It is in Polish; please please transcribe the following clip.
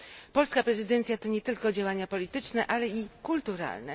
Polska prezydencja to nie tylko działania polityczne, ale i kulturalne.